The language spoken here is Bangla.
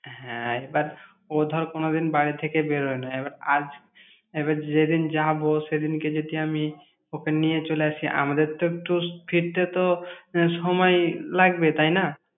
হ্যাঁ, এবার ও ধর কোনদিন বাড়ি থেকে বেরোয় না, এবার আজ এবার যেদিন যাবো সেদিনকে যদি আমি ওকে নিয়ে চলে আসি, আমাদের তো একটু স্থি ফিরতে তো আহ একটু সময় লাগবে, তাই না!